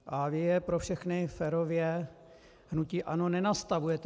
A vy je pro všechny férově - hnutí ANO - nenastavujete.